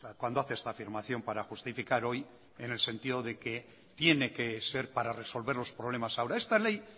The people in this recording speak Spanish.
cuando hace esta afirmación para justificar hoy en el sentido de que tiene que ser para resolver los problemas ahora esta ley